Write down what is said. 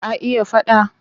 Ka iya faɗa?